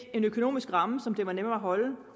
en økonomisk ramme som det var nemmere at holde